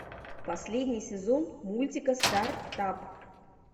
последний сезон мультика стартап